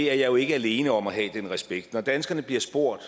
er jo ikke alene om at have den respekt når danskerne bliver spurgt